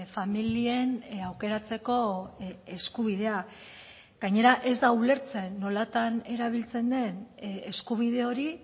familien aukeratzeko eskubidea gainera ez da ulertzen nolatan erabiltzen den eskubide hori